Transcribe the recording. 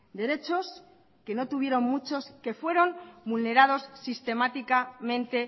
derechos que no tuvieron muchos que fueron vulnerados sistemáticamente